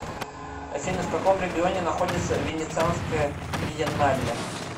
афина в каком регионе находится венецианская биеннале